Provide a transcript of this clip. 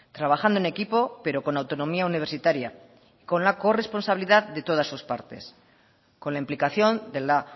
trabajando en equipo pero con autonomía universitaria y con la corresponsabilidad de todas sus partes con la implicación de la